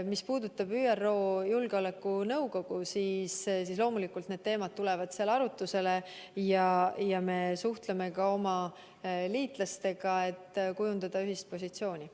Mis puudutab ÜRO Julgeolekunõukogu, siis loomulikult need teemad tulevad seal arutlusele ja me suhtleme ka oma liitlastega, et kujundada ühine positsioon.